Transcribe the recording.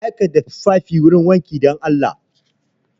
Aika da tufafin gurin wanki dan Allah!